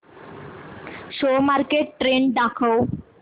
share market trend दाखव